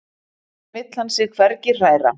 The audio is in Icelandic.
Þaðan vill hann sig hvergi hræra.